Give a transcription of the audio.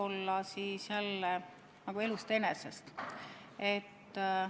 Ma vastaks teile jälle nagu elu enese põhjal.